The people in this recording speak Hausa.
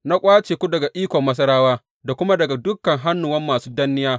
Na ƙwace ku daga ikon Masarawa da kuma daga dukan hannuwan masu danniya.